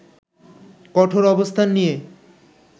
কঠোর অবস্থান নিয়ে